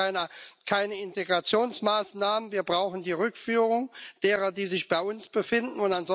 Wir brauchen keine Integrationsmaßnahmen, wir brauchen die Rückführung derer, die sich bei uns befinden.